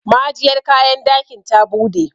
ma'ajiyar kayan dakin ta bude